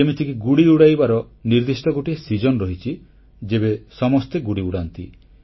ଯେମିତିକି ଗୁଡ଼ି ଉଡ଼ାଇବାର ନିର୍ଦ୍ଦିଷ୍ଟ ଗୋଟିଏ ଋତୁ ରହିଛି ଯେବେ ସମସ୍ତେ ଗୁଡ଼ି ଉଡାନ୍ତି